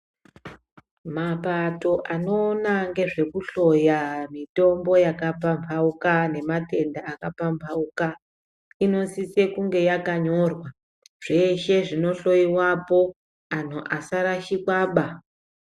Mapato anoona ngezvekuhloya mitombo yakapambauka nematenda akapambauka inosise kunge yakanyorwa zveshe zvinoshowiwapo anhu asarashika ba.